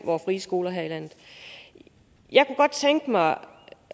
vore frie skoler her i landet jeg kunne godt tænke mig